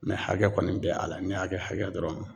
Mɛ hakɛ kɔni bɛ a la n'i y'a kɛ hakɛ dɔrɔn